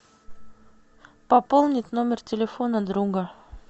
пополнить номер телефона друга